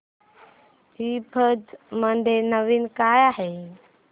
ईबझ मध्ये नवीन काय आहे